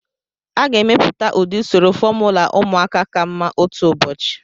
A ga-emepụta ụdị usoro fomula ụmụaka ka mma otu ụbọchị.